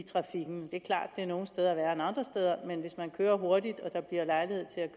andre steder men hvis man kører hurtigt